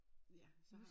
Ja så har